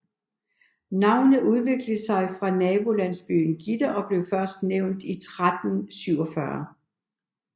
Navnet udviklede sig fra nabolandsbyen Gitter og blev først nævnt i 1347